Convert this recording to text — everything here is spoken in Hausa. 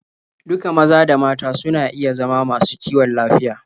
Duka maza da mata suna iya zama masu kiwon lafiya.